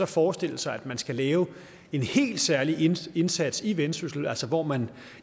forestille sig at man skal lave en helt særlig indsats indsats i vendsyssel altså hvor man